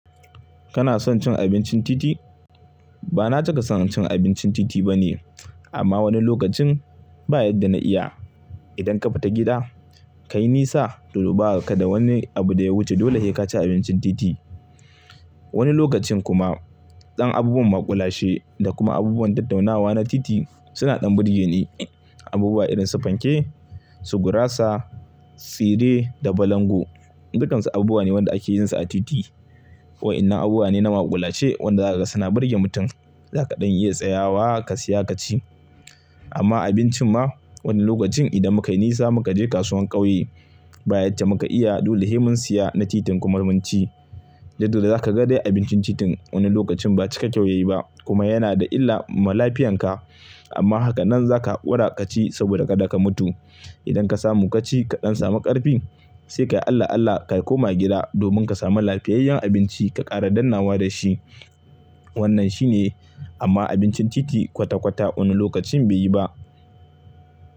Kana son cin abincin titi? Ba na cika son cin abincin titi bane, amma wani lokacin ba'yadda na iya. Idan ka fita gida, ka yi nisa, dole baka da wani abu da ya wuce, dole se ka ci abincin titi. Wani lokacin kuma, ɗan abubuwan maƙulashe da kuma abubuwan tattaunawa na titi suna ɗan burge ni. Abubuwa irin su fanke, su gurasa, tsire da balangu, dukansu abubuwa ne wanda ake yinsu a titi. Waɗannan abubuwa ne na maƙulashe wanda zaka ga suna burge mutum, zaka ɗan iya tsayawa ka siya ka ci. Amma abincin ma wani lokacin idan muka yi nisa muka je kasuwar ƙauye, ba'yadda muka iya, dole sai mun siyi na titin kuma mun ci. Dukda dai za ka ga dai abincin titin wani lokacin ba cika kyau yayi ba kuma yana da illa ga lafiyarka. Amma haka nan zaka haƙura ka ci saboda ka da ka mutu. Idan ka samu ka ci, ka ɗan samu ƙarfi, sai ka yi Allah Allah ka koma gida domin ka samu lafiyayyen abinci ka ƙara dannnawa da shi. Wannan shi ne, amma abincin titi kwata-kwata wani lokacin bai yi ba.